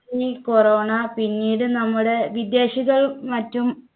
ഈ corona പിന്നീട് നമ്മുടെ വിദേശികളും മറ്റും